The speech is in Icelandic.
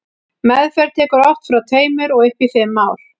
meðferð tekur oft frá tveimur og upp í fimm ár